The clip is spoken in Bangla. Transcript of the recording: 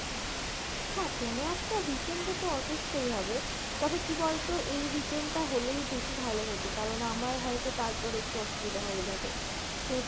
হ্যাঁ কোনো একটা weekend এ তো অবশ্যই হবে, তবে কী বলতো এই weekend টা হলেই বেশি ভালো হত কারন আমার হয়তো তারপর একটু অসুবিধা হয়ে যাবে তোর